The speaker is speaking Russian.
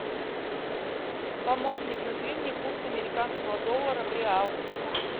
помощник назови мне курс американского доллара в реал